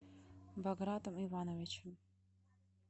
багратом ивановичем